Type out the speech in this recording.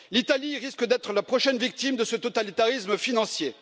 L'Italie risque d'être la prochaine victime de ce totalitarisme financier.